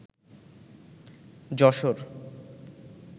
Jessore